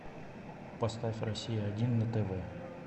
поставь россия один на тв